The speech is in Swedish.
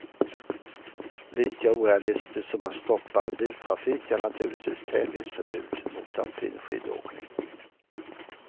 Lika orealistiskt som att stoppa all biltrafik är naturligtvis tävlingsförbud mot alpin skidåkning.